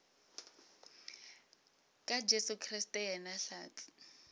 ka jesu kriste yena hlatse